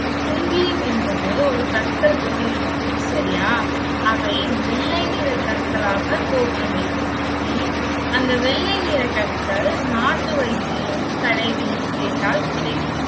குங்கிலியம் என்பது ஒரு கற்கள் போல இருக்கும். சரியா அவை, வெள்ளை நிறக் கற்களாக தோற்றமளிக்கும் உம் அந்த வெள்ளை நிற கற்கள் நாட்டு வைத்தியம் கடைகளில் கேட்டால் கிடைக்கும்.